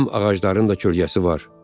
Həm ağacların da kölgəsi var.